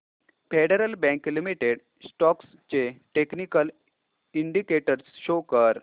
federal bank limited stocks चे technical indicators show कर